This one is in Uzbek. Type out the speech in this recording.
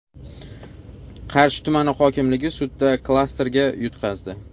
Qarshi tumani hokimligi sudda klasterga yutqazdi.